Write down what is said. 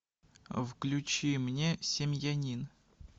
включи мне семьянин